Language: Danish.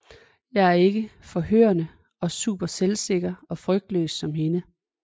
Jeg er ikke forførende og super selvsikker og frygtløs som hende